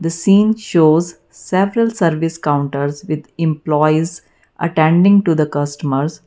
a seen shows several service counters with employees attending to the customers.